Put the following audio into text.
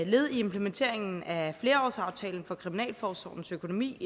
led i implementeringen af flerårsaftalen for kriminalforsorgens økonomi